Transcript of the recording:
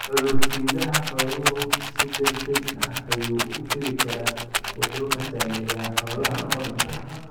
Cudur-sidaha xooluhu si degdeg ah ayuu u fidi karaa, wuxuuna saameeyaa xoolaha oo dhan.